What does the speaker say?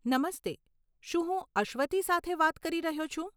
નમસ્તે, શું હું અશ્વથી સાથે વાત કરી રહ્યો છું?